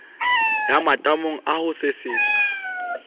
ya matamo a ho sesetsa